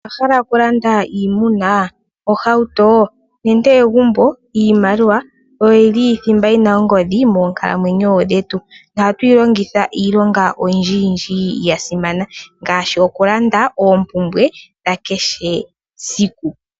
Owahala oku landa iimuna, ohauto, nenge egumbo, iimaliwa oyo yili thimba yina ongodhi moonkalamwenyo dhetu, nohatu yi longitha iilonga oyindjiyindji ya simana, ngaashi okulanda oompumbwe dha kehe esiku.